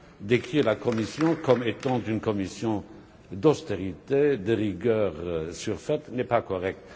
Décrire la Commission comme étant une Commission d'austérité, de rigueur surfaite, n'est pas correct.